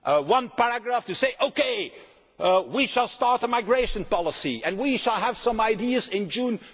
We have one paragraph to say okay, we will start a migration policy and we will have some ideas in June